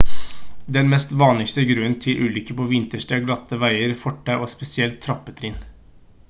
den mest vanligste grunnen til ulykker på vinterstid er glatte veier fortau og spesielt trappetrinn